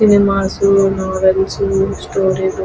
cinemas novels story books --